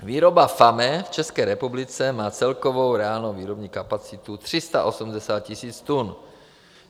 Výroba FAME v České republice má celkovou reálnou výrobní kapacitu 380 000 tun.